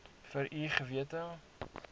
vir u gewete